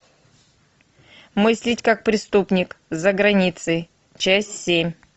мыслить как преступник за границей часть семь